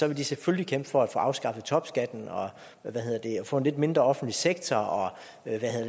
vil de selvfølgelig kæmpe for at få afskaffet topskatten og få en lidt mindre offentlig sektor og